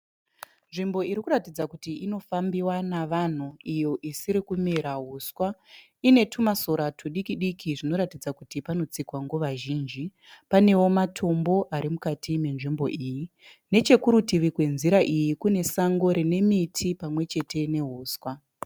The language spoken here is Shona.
Nzvimbo iri kuratidza kuti inofambiwa navanhu iyo isiri kumera uswa. Ine tumasora tudikidiki zvinoratidza kuti panotsikwa nguva zhinji. Panewo matombo ari mukati menzvimbo iyi. Nechekurutivi kwenzira iyi kune sango rine miti pamwe chete neuswa.